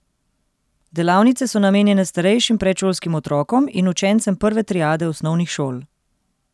Delavnice so namenjene starejšim predšolskim otrokom in učencem prve triade osnovnih šol.